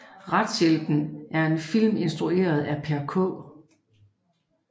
Retshjælpen er en film instrueret af Per K